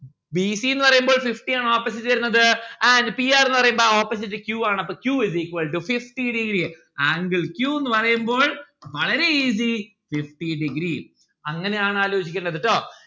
b c ന്ന് പറയുമ്പോൾ fifty ആണ് opposite വരുന്നത് and p r പറയുമ്പോ ആ opposite p ആണ് അപ്പൊ q is equal to fifty degree. angle q ന്ന്‌ പറയുമ്പോൾ വളരെ easy fifty degree അങ്ങനെ ആണ് ആലോചിക്കണ്ടത് ട്ടോ